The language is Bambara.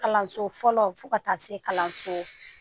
Kalanso fɔlɔ fo ka taa se kalanso